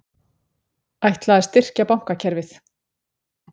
Ætlað að styrkja bankakerfið